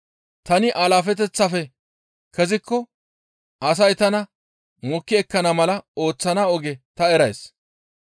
tani alaafeteththaafe kezikko asay tana mokki ekkana mala ooththana oge ta erays.